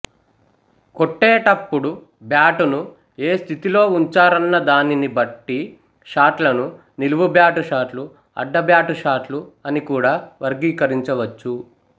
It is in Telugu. కొట్టేటపుడు బ్యాటును ఏ స్థితిలో ఉంచారన్న దానిని బట్టి షాట్లను నిలువుబ్యాటు షాట్లు అడ్డబ్యాటు షాట్లు అని కూడా వర్గీకరించవచ్చు